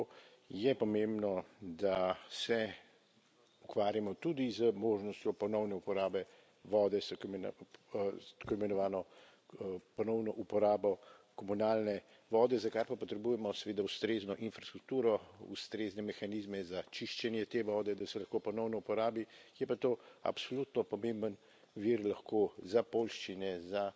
Zato je pomembno, da se ukvarjamo tudi z možnostjo ponovne uporabe vode s tako imenovano ponovno uporabo komunalne vode, za kar pa potrebujemo seveda ustrezno infrastrukturo, ustrezne mehanizme za čiščenje te vode, da se lahko ponovno uporabi, je pa to absolutno pomemben vir lahko za poljščine, za